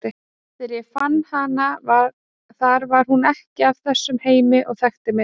Þegar ég fann hana þar var hún ekki af þessum heimi og þekkti mig ekki.